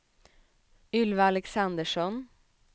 Ylva Alexandersson